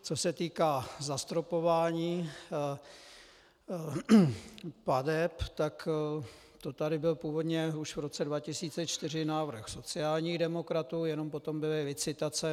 Co se týká zastropování plateb, tak to tady byl původně už v roce 2004 návrh sociálních demokratů, jenom potom byly licitace.